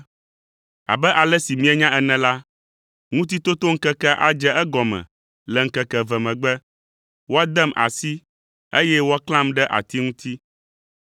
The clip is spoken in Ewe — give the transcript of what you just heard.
“Abe ale si mienya ene la, Ŋutitotoŋkekea adze egɔme le ŋkeke eve megbe, woadem asi eye woaklãm ɖe ati ŋuti.”